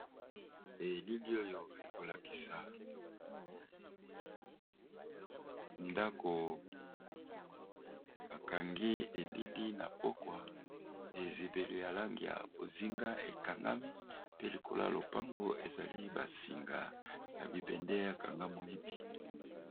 Elili oyo ekolakisa ndako akangi elili na pokwa ezibele ya lang ya bozinga ekangami pe likolo y lopango ezali basinga ya bibende ya kanga moyibi.